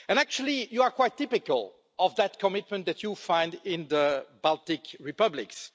And actually you are quite typical of that commitment that you find in the Baltic republics.